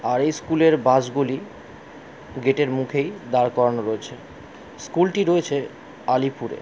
আর এই স্কুল এর বাস গুলি গেটের মুখেই দাঁড় করানো রয়েছে স্কুলটি রয়েছে আলীপুর এ--